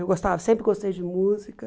Eu gostava sempre gostei de música.